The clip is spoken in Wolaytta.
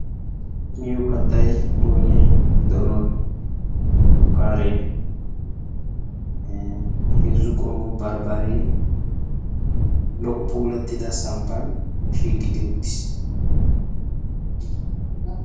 miyo kattay boyinay, donoy, shukkaare, heezzu qommo barbbare lo'o puulattida samppan shiiqidi uttis.